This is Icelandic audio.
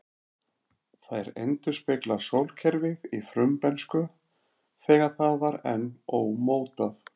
Þær endurspegla sólkerfið í frumbernsku, þegar það var enn ómótað.